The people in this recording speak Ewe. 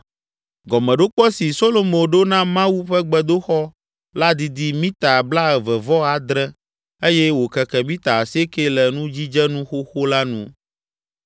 Gɔmeɖokpe si Solomo ɖo na Mawu ƒe gbedoxɔ la didi mita blaeve-vɔ-adre eye wòkeke mita asieke le nudzidzenu xoxo la nu.